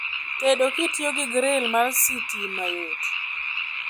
Tedo kitiyo gi gril mar sitima yot